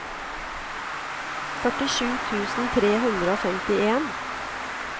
førtisju tusen tre hundre og femtien